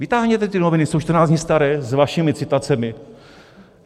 Vytáhněte ty noviny, jsou 14 dní staré, s vašimi citacemi.